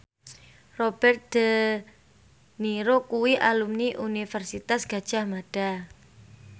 Robert de Niro kuwi alumni Universitas Gadjah Mada